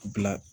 Bila